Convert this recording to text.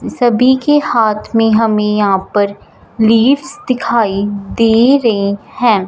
सभी के हाथ में हमें यहां पर दिखाई दे रहे हैं।